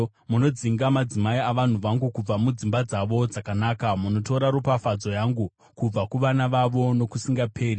Munodzinga madzimai avanhu vangu kubva mudzimba dzavo dzakanaka. Munotora ropafadzo yangu kubva kuvana vavo nokusingaperi.